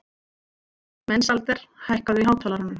Mensalder, hækkaðu í hátalaranum.